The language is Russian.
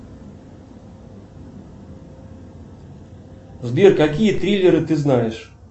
сбер какие триллеры ты знаешь